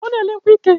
O na ele nkwu ike